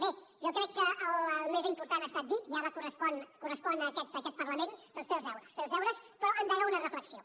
bé jo crec que el més important ha estat dit i ara correspon a aquest parlament doncs fer els deures fer els deures però endegar una reflexió